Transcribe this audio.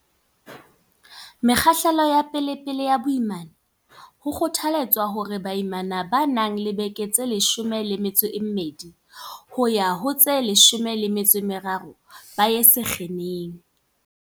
Mekgahlelong ya pe lepele ya boimana, ho kgothaletswa hore baimana ba nang le dibeke tse 12 yo ha ho tse 13 ba ye sekheneng.